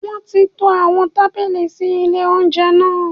Wọ́n ti to àwọn tábìlì sí lé oúnjẹ náà